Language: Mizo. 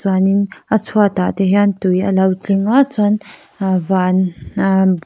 hianin a chhuatah te hian tui a lo tling a chuan aa van aa--